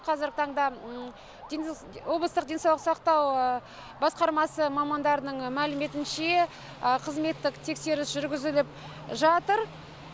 қазіргі таңда облыстық денсаулық сақтау басқармасы мамандарының мәліметінше қызметтік тексеріс жүргізіліп жатыр